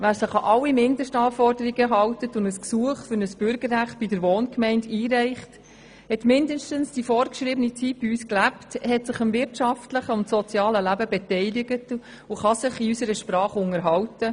Wer sich an alle Mindestanforderungen hält und ein Gesuch für ein Bürgerrecht bei der Wohngemeinde einreicht, hat mindestens die vorgeschriebene Zeit bei uns gelebt, sich am wirtschaftlichen und sozialen Leben beteiligt und kann sich in unserer Sprache unterhalten.